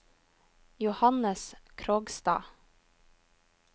Johannes Krogstad